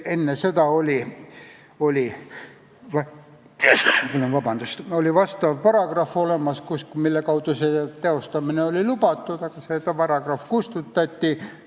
Enne seda oli seaduses olemas paragrahv, mille alusel see oli lubatud, aga see paragrahv kustutati.